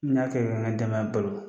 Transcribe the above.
N ya kɛ ka n ka denbaya balo.